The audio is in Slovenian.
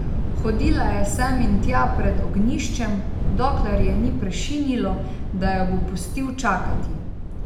Hodila je sem in tja pred ognjiščem, dokler je ni prešinilo, da jo bo pustil čakati.